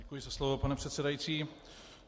Děkuji za slovo, pane předsedající.